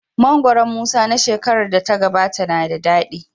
Mangoron Musa na shekarar da ta gabata na da dadi.